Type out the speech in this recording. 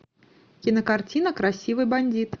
кинокартина красивый бандит